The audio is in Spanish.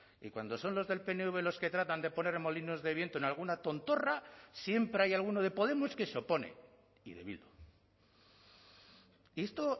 y cuando son los del pnv los que tratan de poner molinos de viento en alguna tontorra siempre hay alguno de podemos que se opone y de bildu y esto